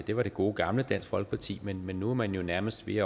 det var det gode gamle dansk folkeparti men men nu er man jo nærmest ved